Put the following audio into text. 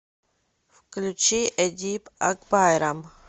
включи эдип акбайрам